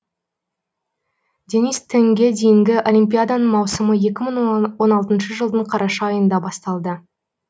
денис тенге дейінгі олимпиаданың маусымы екі мың он алтыншы жылдың қараша айында басталды